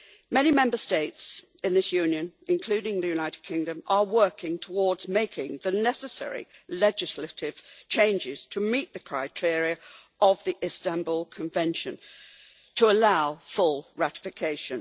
Many Member States in this Union, including the United Kingdom, are working towards making the necessary legislative changes to meet the criteria of the Istanbul Convention to allow full ratification.